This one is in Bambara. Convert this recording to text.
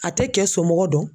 A tɛ kɛ somɔgɔ dɔn